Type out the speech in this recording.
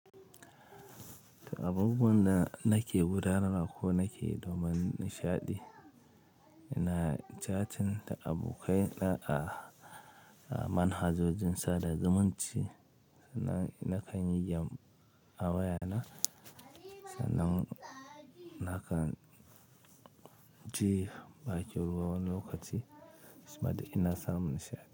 Abubuwan da nake gurara ma ko nake domin nishaɗi, ina catin da abokai na a manhajojin sada zumunci. Nan ina kan yi game a wayana, sannan ina kan je bakin wani lokaci shima da ina samun nishaɗi.